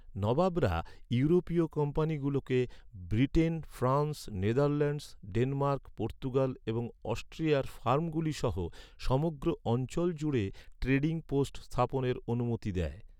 নবাবরা ইউরোপীয় কোম্পানিগুলোকে Britain, France, Netherlands, Denmark, Portugal এবং অস্ট্রিয়ার ফার্মগুলি সহ সমগ্র অঞ্চল জুড়ে ট্রেডিং পোস্ট স্থাপনের অনুমতি দেয়।